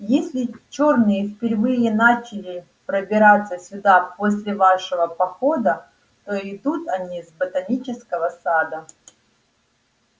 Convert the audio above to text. если чёрные впервые начали пробираться сюда после вашего похода то идут они с ботанического сада